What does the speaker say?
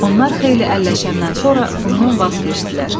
Onlar xeyli əlləşəndən sonra bundan vaz keçdilər.